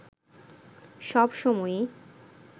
সব সময়ই